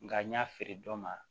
Nka n y'a feere dɔ ma